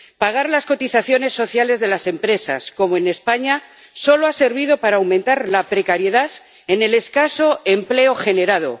Pagar las cotizaciones sociales de las empresas, como en España, solo ha servido para aumentar la precariedad en el escaso empleo generado.